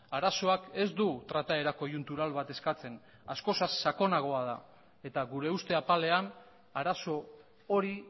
arazoak ez du trataera koiuntural bat eskatzen askoz sakonagoa da eta gure uste apalean arazo hori